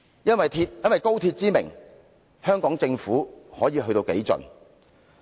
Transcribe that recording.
因高鐵之名，香港政府又會幹甚麼好事呢？